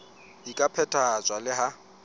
di ka phethahatswa le ha